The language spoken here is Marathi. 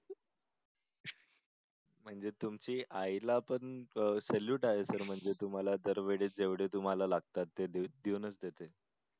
म्हणजे तुमच्या आई ला पण salute आहे तर म्हणजे तुम्हला दर वेळेस जेवढे तुम्हला लागतात ते देऊनच देते